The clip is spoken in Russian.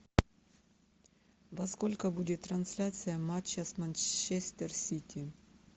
во сколько будет трансляция матча с манчестер сити